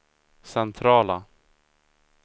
centrala